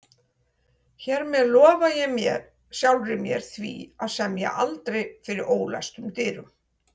Hér með lofa ég sjálfri mér því að semja aldrei fyrir ólæstum dyrum